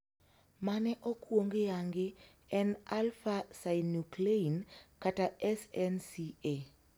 Mane okwong yangi en 'alpha synuclein' kata 'SNCA'.